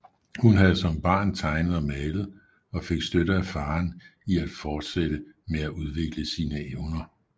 Hun havde som barn tegnet og malet og fik støtte af faderen i at fortsætte med at udvikle sine evner